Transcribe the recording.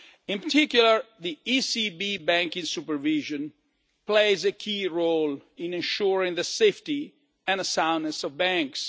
In particular, ECB banking supervision plays a key role in ensuring the safety and soundness of banks.